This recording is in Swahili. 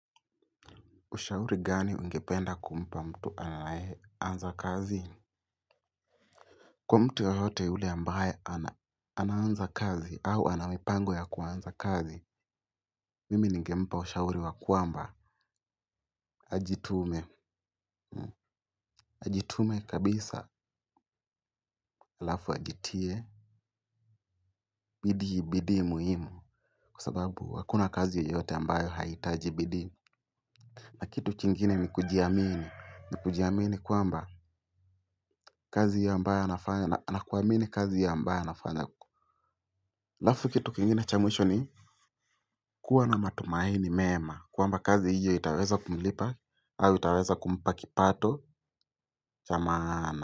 Ushauri gani ungependa kumpa mtu anyeanza kazi? Kwa mtu yeyote yule ambaye anaanza kazi au ana mipango ya kuanza kazi, mimi ningempa ushauri ya kwamba ajitume. Ajitume kabisa halafu ajitie. Bidii, bidii muhimu kwa sababu hakuna kazi yoyote ambayo haihitaji bidii. Na kitu kingine ni kujiamini kujiamini kwamba kazi ambayo anafanya ni kazi ambayo anafanya. Halafu kitu kingine cha mwisho ni kuwa na matumaini mema kwamba kazi hio itaweza kumlipa au itaweza kumpa kipato cha maana.